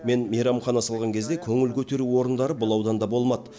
мен мейрамхана салған кезде көңіл көтеру орындары бұл ауданда болмады